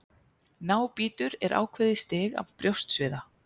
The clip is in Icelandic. Nábítur er ákveðið stig af brjóstsviða.